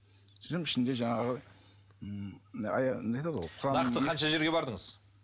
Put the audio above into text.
сөйтсем ішінде жаңағы м нақты қанша жерге бардыңыз